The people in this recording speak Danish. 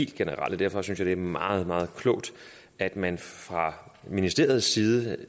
generelle derfor synes jeg det er meget meget klogt at man fra ministeriets side